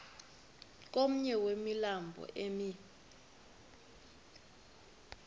komnye wemilambo emi